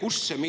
Aitäh!